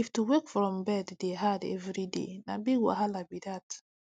if to wake from bed dey hard every day na big wahala be that